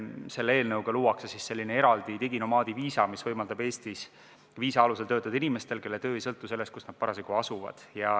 Selle eelnõuga luuakse eraldi diginomaadi viisa, mis võimaldab Eestis viisa alusel töötada inimestel, kelle töö ei sõltu sellest, kus nad parasjagu asuvad.